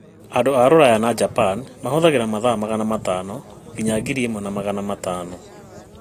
Andũ a Rũraya na Japan mahũthagĩra mathaa magana matano nginya ngiri ĩmwe magana matano